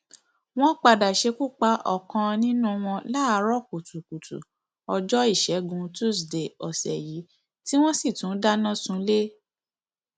wọn padà ṣekú pa ọkan nínú wọn láàárọ kùtùkùtù ọjọ ìṣègùn túṣídéé ọsẹ yìí tí wọn sì tún dáná sunlẹ